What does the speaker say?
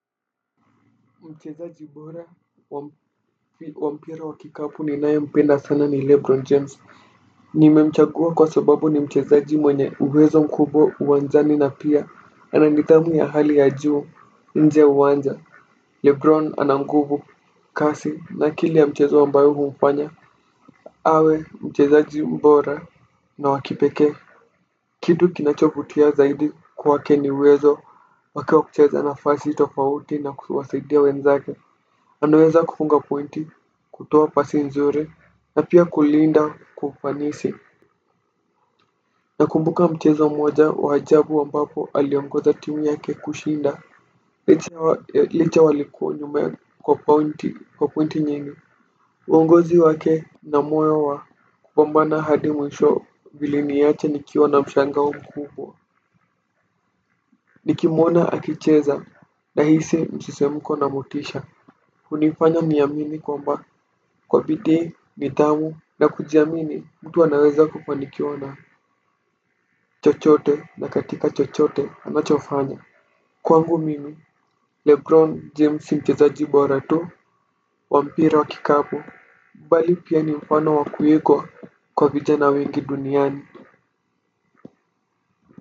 Mchezaji bora wa mpira wa kikapu ninaye mpenda sana ni Lebron James. Nimemchagua kwa sababu ni mchezaji mwenye uwezo mkubwa uwanjani na pia ana nidhamu ya hali ya juu nje ya uwanja Lebron ana nguvu kasi na akili ya mchezo ambayo humfanya awe mchezaji mbora na wa kipekee. Kitu kinachovutia zaidi kwake ni uwezo wake wa kucheza nafasi tofauti na kuwasaidia wenzake. Anaweza kufunga pointi, kutoa pasi nzuri na pia kulinda kwa kufanisi. Nakumbuka mchezo mmoja wa ajabu ambapo aliongoza timu yake kushinda licha walikuwa nyuma kwa pointi kwa pointi nyingi. Uongozi wake na moyo wa kupambana hadi mwisho viliniacha nikiwa na mshangao mkubwa. Nikimwona akicheza nahisi msisimko na motisha hunifanya niamini kwamba kwa bidii nidhamu na kujiamini mtu anaweza kufanikiwa na chochote na katika chochote anachofanya. Kwangu mimi Lebron James si mchezaji bora tu wa mpira wa kikapu bali pia ni mfano wa kuigwa kwa vijana wengi duniani.